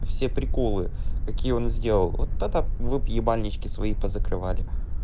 все приколы какие он сделал вот тогда вы б больнички свои позакрывали